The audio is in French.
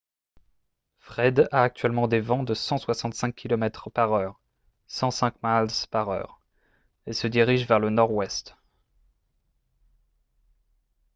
fred a actuellement des vents de 165 km/h 105 miles par heure et se dirige vers le nord-ouest